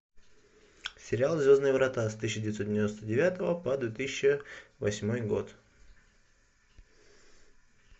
сериал звездные врата с тысяча девятьсот девяносто девятого по две тысячи восьмой год